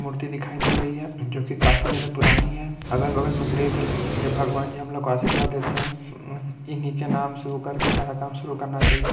मूर्ति दिखाई दे रही है जो की काफी ज्यादा पुरानी है अगल-बगल में ग्रे कलर-- जब भगवान जी हम लोग को आशीर्वाद देते हैं इन्हीं के नाम से वह करके सारा काम शुरू करना चाहिए।